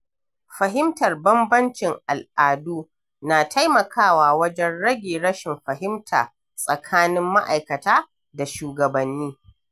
Fahimtar bambancin al’adu na taimakawa wajen rage rashin fahimta tsakanin ma’aikata da shugabanni.